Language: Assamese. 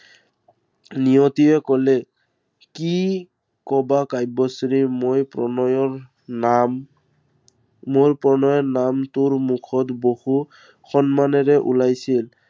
নিয়তিয়ে কলে কি কবা কাব্যশ্ৰী মই প্ৰণয়ৰ নাম, মোৰ প্ৰণয়ৰ নাম তোৰ মুখত বহু সন্মানেৰে ওলাইছিল।